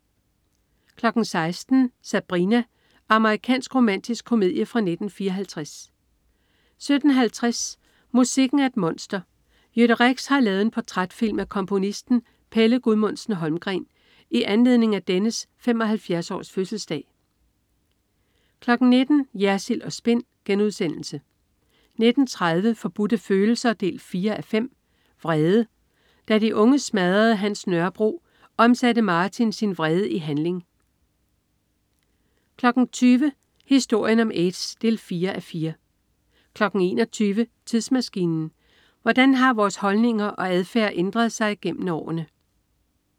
16.00 Sabrina. Amerikansk romantisk komedie fra 1954 17.50 Musikken er et monster. Jytte Rex har lavet en portrætfilm af komponisten Pelle Gudmundsen-Holmgreen i anledning af dennes 75-års-fødselsdag 19.00 Jersild & Spin* 19.30 Forbudte Følelser 4:5. Vrede. Da de unge smadrede hans Nørrebro, omsatte Martin sin vrede i handling 20.00 Historien om aids 4:4 21.00 Tidsmaskinen. Hvordan har vores holdninger og adfærd ændret sig gennem årene?